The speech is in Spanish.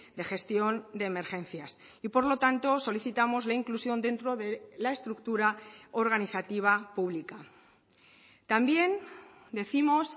de gestión de emergencias y por lo tanto solicitamos la inclusión dentro de la estructura organizativa pública también décimos